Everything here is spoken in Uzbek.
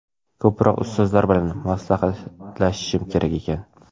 Ko‘proq ustozlar bilan maslahatlashishim kerak ekan.